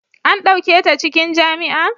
an dauke ta cikin jami'a?